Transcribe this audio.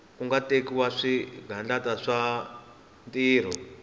ku tekiwa swigandlato swa tintiho